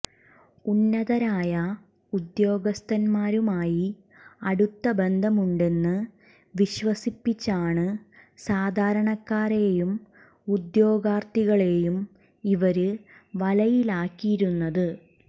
ഉന്നതരായ ഉദ്യോഗസ്ഥന്മാരുമായി അടുത്ത ബന്ധമുണ്ടെന്ന് വിശ്വസിപ്പിച്ചാണ് സാധാരണക്കാരെയും ഉദ്യോഗാര്ഥികളെയും ഇവര് വലയിലാക്കിയിരുന്നത്